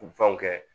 Fɛnw kɛ